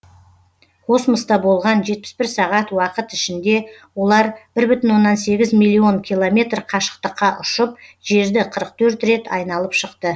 космоста болған жетпіс бір сағат уақыт ішінде олар бір бүтін оннан сегіз миллион километр қашықтыққа ұшып жерді қырық төрт рет айналып шықты